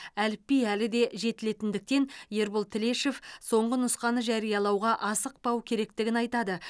әліпби әлі де жетілетіндіктен ербол тілешов соңғы нұсқаны жариялауға асықпау керектігін айтады